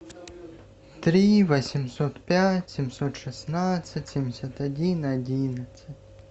три восемьсот пять семьсот шестнадцать семьдесят один одиннадцать